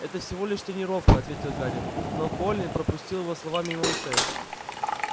это всего лишь тренировка ответил гарри но колин пропустил его слова мимо ушей